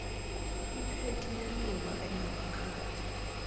iphekhi yelunga enamakhadi